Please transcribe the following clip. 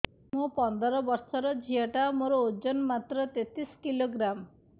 ମୁ ପନ୍ଦର ବର୍ଷ ର ଝିଅ ଟା ମୋର ଓଜନ ମାତ୍ର ତେତିଶ କିଲୋଗ୍ରାମ